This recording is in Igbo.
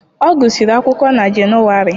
Ọ gụsịrị akwụkwọ na Jenụwarị.